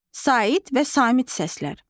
Sait və samit səslər.